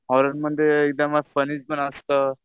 हॉररमध्ये एकदम फणी पण असतं.